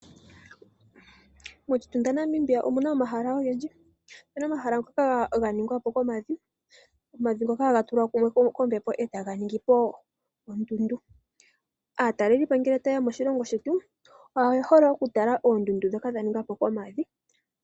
Moshitunda Namibia omuna omahala ogendji omuna omahala ngoka ganingwapo komavi, omavi ngoka haga tulwa mumwe kombepo eetaga ningipo ondudu, aatalelipo ngele tayeya moshilongo shetu oye hole oku tala oondundu ndhoka dha ningwa po komavi.